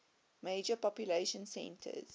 major population centers